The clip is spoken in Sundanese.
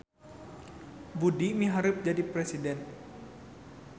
Budi miharep jadi presiden